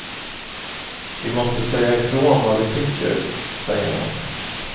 Vi måste säga ifrån vad vi tycker, säger han.